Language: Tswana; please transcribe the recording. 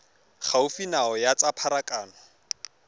gaufi nao ya tsa pharakano